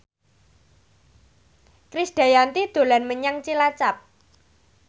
Krisdayanti dolan menyang Cilacap